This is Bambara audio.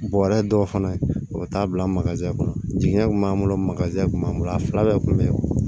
Bɔrɛ dɔw fana o bɛ taa bila kɔnɔ jiɲɛ kun b'an bolo kun b'an bolo a fila bɛɛ kun bɛ ye